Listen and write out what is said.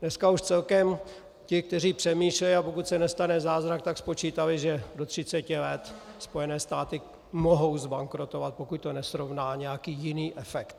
Dneska už celkem ti, kteří přemýšlejí, a pokud se nestane zázrak, tak spočítali, že do 30 let Spojené státy mohou zbankrotovat, pokud to nesrovná nějaký jiný efekt.